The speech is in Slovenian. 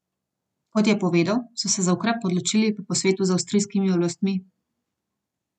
Kot je povedal, so se za ukrep odločili po posvetu z avstrijskimi oblastmi.